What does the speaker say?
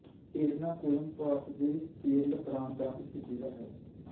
ਏਰਨਾਕੁਲਮ ਭਾਰਤ ਦੇ ਕੇਰਲ ਪ੍ਰਾਂਤ ਦਾ ਇੱਕ ਜ਼ਿਲ੍ਹਾ ਹੈ